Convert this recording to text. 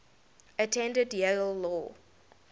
attended yale law